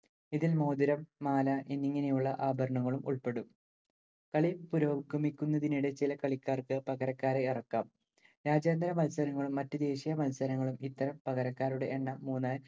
ഇതിൽ മോതിരം മാല എന്നിങ്ങനെയുള്ള ആഭരണങ്ങളും ഉൾപ്പെടും. കളി പുരോഗമിക്കുന്നതിനിടെ ചില കളിക്കാർക്ക്‌ പകരക്കാരെ ഇറക്കാം. രാജ്യാന്തര മത്സരങ്ങളും, മറ്റ്‌ ദേശീയ മത്സരങ്ങളും ഇത്തരം പകരക്കാരുടെ എണ്ണം മൂന്നായി